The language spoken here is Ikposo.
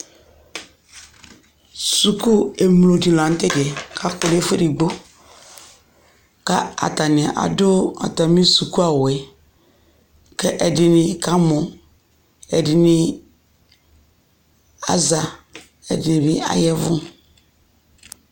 suku emlo di lantɛ diɛ ko akɔ no ɛfu edigbo ko atani ado atami suku awuɛ ko ɛdi ni ka mɔ ɛdi ni aza ɛdi ni bi ayavu